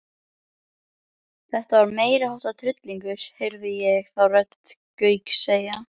Þetta var meiriháttar tryllingur heyrði ég þá rödd Gauks segja.